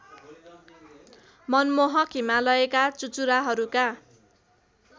मनमोहक हिमालयका चुचुराहरूका